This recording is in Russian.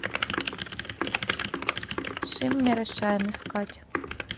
шиммер и шайн искать